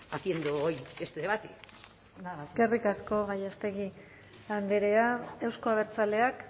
haciendo hoy este debate nada más eskerrik asko gallástegui andrea euzko abertzaleak